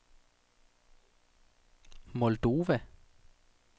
Moldova